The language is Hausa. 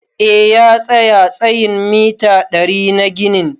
Eh, ya tsaya tsayin mita ɗari na ginin.